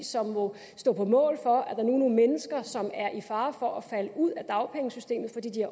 som må stå på mål for at der nu mennesker som er i fare for at falde ud af dagpengesystemet fordi de